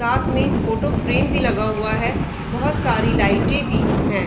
साथ में photo frame भी लगा हुआ है बहुत सारी लाइटें भी हैं।